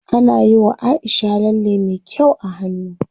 Ana yiwa Aisha lalle me kyau a hannu.